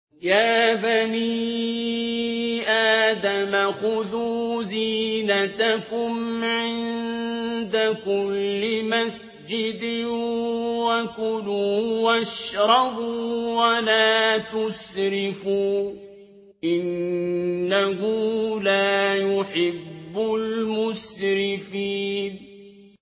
۞ يَا بَنِي آدَمَ خُذُوا زِينَتَكُمْ عِندَ كُلِّ مَسْجِدٍ وَكُلُوا وَاشْرَبُوا وَلَا تُسْرِفُوا ۚ إِنَّهُ لَا يُحِبُّ الْمُسْرِفِينَ